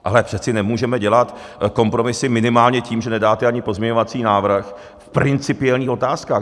Ale přece nemůžeme dělat kompromisy minimálně tím, že nedáte ani pozměňovací návrh v principiálních otázkách.